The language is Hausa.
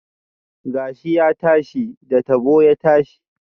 Gashi ya tashi, da tabo ya tashi